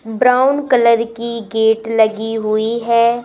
Brown colour की gate लगी हुई है।